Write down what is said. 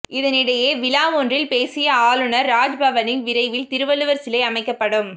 இதனிடையே விழா ஒன்றில் பேசிய ஆளுநர் ராஜ்பவனில் விரைவில் திருவள்ளுவர் சிலை அமைக்கப்படும்